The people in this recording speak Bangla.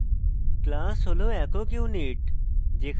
class হল একক unit